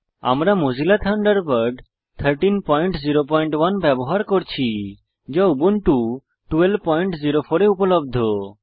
আমরা Mozilla Thunderbird 1301 ব্যবহার করছি যা উবুন্টু 1204 এ উপলব্ধ